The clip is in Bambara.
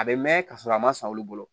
A bɛ mɛn ka sɔrɔ a ma san olu bolo